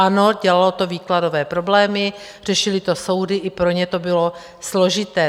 Ano, dělalo to výkladové problémy, řešily to soudy, i pro ně to bylo složité.